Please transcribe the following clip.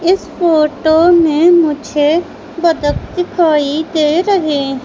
इस फोटो में मुझे बदक दिखाई दे रहे--